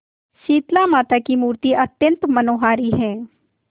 शीतलामाता की मूर्ति अत्यंत मनोहारी है